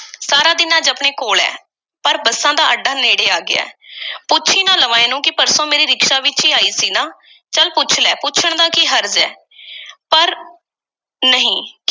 ਸਾਰਾ ਦਿਨ ਅੱਜ ਆਪਣੇ ਕੋਲ੍ਹ ਐ। ਪਰ ਬੱਸਾਂ ਦਾ ਅੱਡਾ ਨੇੜੇ ਆ ਗਿਆ। ਪੁੱਛ ਈ ਨਾ ਲਵਾਂ ਇਹਨੂੰ ਕਿ ਪਰਸੋਂ ਮੇਰੀ ਰਿਕਸ਼ਾ ਵਿੱਚ ਈ ਆਈ ਸੀ ਨਾ? ਚੱਲ ਪੁੱਛ ਲੈ, ਪੁੱਛਣ ਦਾ ਕੀ ਹਰਜ਼ ਐ? ਪਰ ਨਹੀਂ,